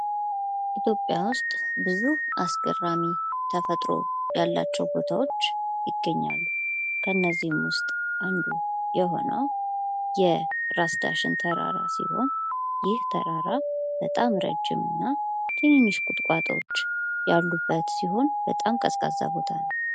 ኢትዮጵያ ዉስጥ ብዙ አስገራሚ ተፈጥሮአዊ ያላቸዉ ቦታዎች ይገኛሉ። ከእነዚህም ዉስጥ አንዱ የሆነዉ የራስ ዳሽን ተራራ ሲሆን ይህ ተራራ በጣም ረዥም እና ትንንሽ ቁጥቋጦዎች ያሉበት ሲሆን በጣም ቀዝቃዛ ቦታ ነዉ።